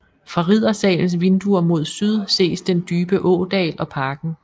Fra Riddersalens vinduer mod syd ses den dybe ådal og parken